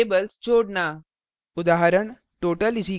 और structure variables जोड़ना